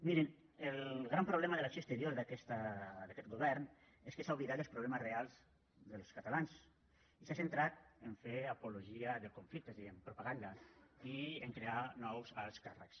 mirin el gran problema de l’acció exterior d’aquest govern és que s’ha oblidat dels problemes reals dels catalans i s’ha centrat a fer apologia del conflicte és a dir en propaganda i a crear nous alts càrrecs